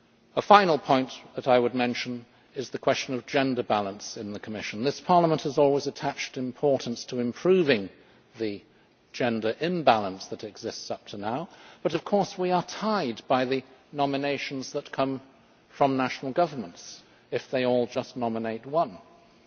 A final point I would mention is the question of gender balance in the Commission. This Parliament has always attached importance to improving the gender imbalance that has existed up to now, but of course we are tied by the nominations that come from national governments if they all nominate just one candidate.